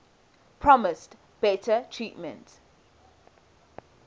promised better treatment